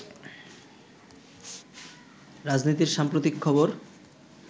রাজনীতির সাম্প্রতিক খবর